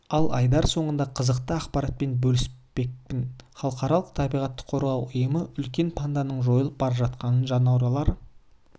ал айдар соңында қызықты ақпаратпен бөліспекпін халықаралық табиғатты қорғау ұйымы үлкен панданың жойылып бара жатқан жануарлар